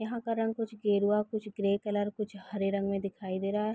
यहाँ का रंग कुछ गेरुवा कुछ ग्रे कलर कुछ हरे रंग में दिखाई दे रहा है।